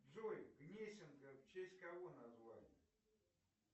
джой гнесинка в честь кого назвали